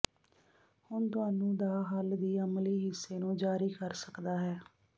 ਹੁਣ ਤੁਹਾਨੂੰ ਦਾ ਹੱਲ ਦੀ ਅਮਲੀ ਹਿੱਸੇ ਨੂੰ ਜਾਰੀ ਕਰ ਸਕਦਾ ਹੈ